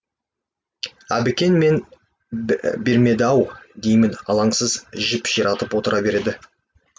әбікен мән бермеді ау деймін алаңсыз жіп ширатып отыра берді